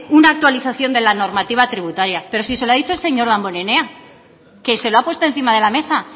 una actualización de la normativa tributaria pero si se lo ha dicho el señor damborenea que se lo ha puesto encima de la mesa